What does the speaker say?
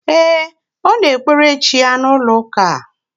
E, Ọ na ekpere chi ya na ụlọ ụka a